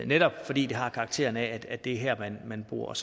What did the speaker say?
netop fordi det har karakter af at det er her man bor